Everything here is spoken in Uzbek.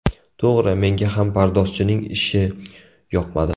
To‘g‘ri, menga ham pardozchining ishi yoqmadi.